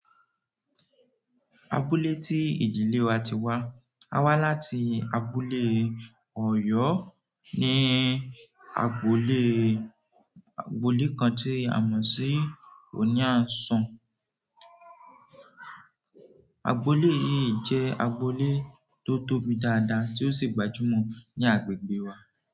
Abúlé tí ìdílé wa ti wá, a wá láti abúlé Ọ̀yọ́ ní agboolé, agboolé kan tí a mọ̀ sí òní àìsàn. Agboolé yìí jẹ́ agboolé tó tóbi dáadáa tí ó sì gbajúmọ̀ ní agbègbè wa.